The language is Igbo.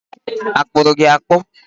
Akpụrụ gi akpụ?